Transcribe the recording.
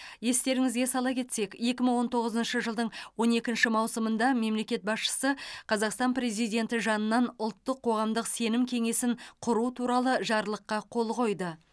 естеріңізге сала кетсек екі мың он тоғызыншы жылдың он екінші маусымында мемлекет басшысы қазақстан президенті жанынан ұлттық қоғамдық сенім кеңесін құру туралы жарлыққа қол қойды